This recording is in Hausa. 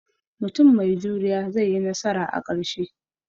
Mutum mai juriya zai yi nasara a ƙarshe